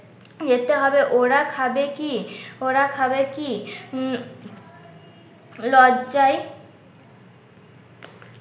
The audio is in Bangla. যেতে হবে ওরা খাবে কি? ওরা খাবে কি? উম লজ্জায়